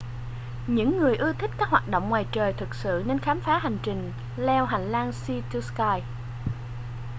những người ưa thích các hoạt động ngoài trời thực sự nên khám phá hành trình leo hành lang sea to sky